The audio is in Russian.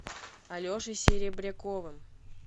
алешей серебряковым